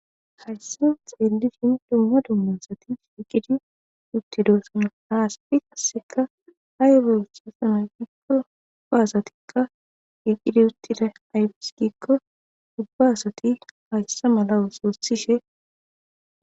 hayssa xeellishin dumma dumma asati shiqidi uttidosana ha asti qasseka ay belsa sana giikko ubba asatikka iqidi uttida aybiss gikko ubba asati hayssa mala ooso othishe